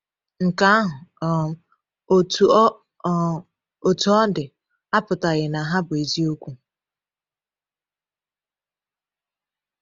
Nke ahụ, um otú ọ um otú ọ dị, apụtaghị na ha bụ eziokwu.